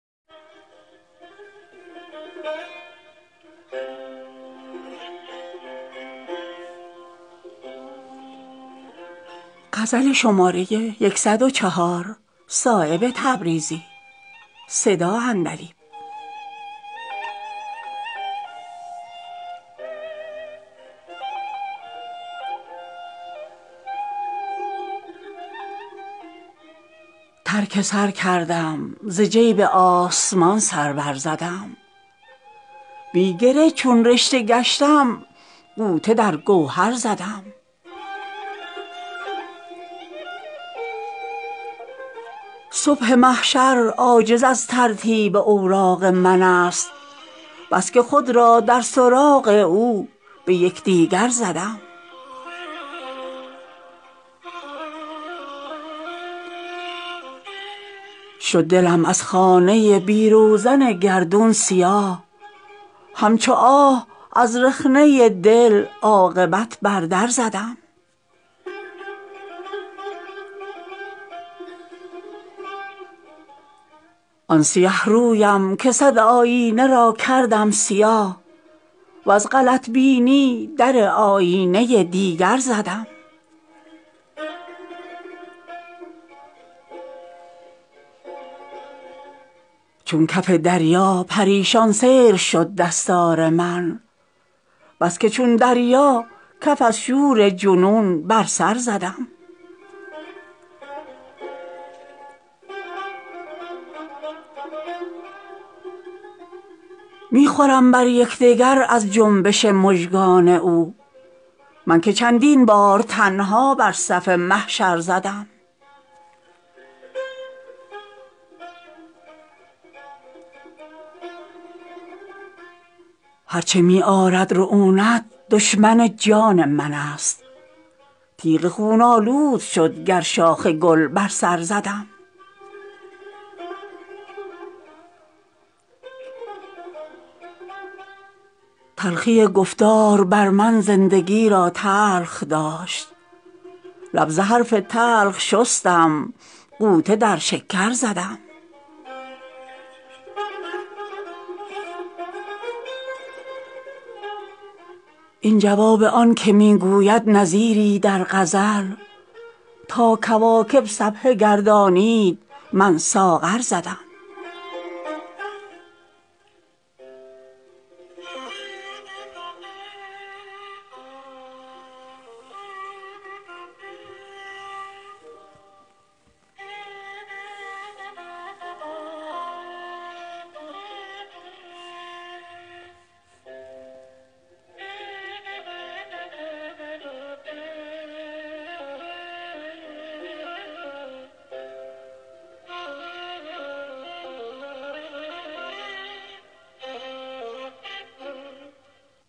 ترک سر کردم زجیب آسمان سر برزدم بی گره چون رشته گشتم غوطه در گوهر زدم تن پرستی پرده بینایی من گشته بود شمع عریان بود چون آتش به بال و پر زدم صبح محشر عاجز از ترتیب اوراق من است بس که خود را در سراغ او به یکدیگر زدم شد دلم از خانه بی روزن گردون سیاه همچو آه از رخنه دل عاقبت بر در زدم تنگ گیری بر من ای گردون عاجز کش بس است سوختم از بس نفس در زیر خاکستر زدم آن سیه رویم که صد آیینه را کردم سیاه وز غلط بینی در آیینه دیگر زدم سعی بی قسمت پریشانی دهد بر ورنه من قطره در ظلمات هستی بیش از سکندر زدم چون کف دریا پریشان سیر شد دستار من بس که چون دریا کف از شور جنون بر سر زدم در میان آتش سوزان نشستم تا کمر تادمی خوش در بساط خاک چون مجمر زدم بی تو رضوانم به سیر گلشن فردوس برد ناله ای کردم که آتش در دل کوثر زدم می خوردم بر یکدگر از جنبش مژگان او من که چندین بار تنها بر صف محشر زدم درسواد آفرینش هیچ کس در خانه نیست ورنه من چون مهر تابان حلقه بر هر در زدم هر چه می آرد رعونت دشمن جان من است تیغ خون آلود شد گرشاخ گل بر سر زدم تلخی گفتار بر من زندگی را تلخ داشت لب ز حرف تلخ شستم غوطه در شکر زدم خاک شد در زیر اوراق پر و بالم نهان در تمنای تو از بس گرد عالم پرزدم سوز دل را تشنگی دست از گریبان بر نداشت ساغر تبخال را چندان که برکوثر زدم این جواب آن که می گوید نظیری در غزل تا کواکب سبحه گردانید من ساغر زدم